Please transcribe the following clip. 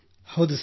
ಹೌದು ಸರ್